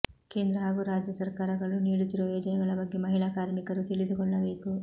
ಕೇಂದ್ರ ಹಾಗೂ ರಾಜ್ಯ ಸರ್ಕಾರಗಳು ನೀಡು ತ್ತಿರುವ ಯೋಜನೆಗಳ ಬಗ್ಗೆ ಮಹಿಳಾ ಕಾರ್ಮಿ ಕರು ತಿಳಿದುಕೊಳ್ಳಬೇಕು